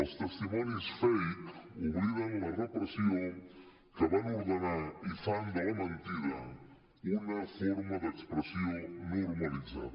els testimonis fake obliden la repressió que van ordenar i fan de la mentida una forma d’expressió normalitzada